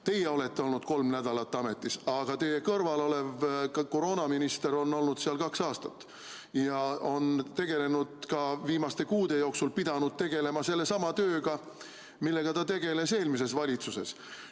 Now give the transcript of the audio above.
Teie olete olnud kolm nädalat ametis, aga teie kõrval olev koroonaminister on ametis kaks aastat ja on ka viimaste kuude jooksul pidanud tegelema sellesama tööga, millega ta tegeles eelmises valitsuses.